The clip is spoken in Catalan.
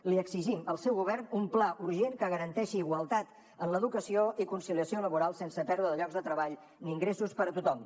li exigim al seu govern un pla urgent que garanteixi igualtat en l’educació i conciliació laboral sense pèrdua de llocs de treball ni ingressos per a tothom